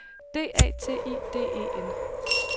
D A T I D E N